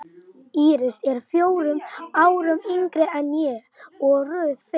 Íris er fjórum árum yngri en ég og Ruth fimm.